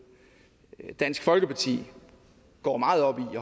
at dansk folkeparti går meget op i